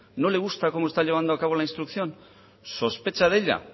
no le gusta cómo está llevando a cabo la instrucción sospecha de ella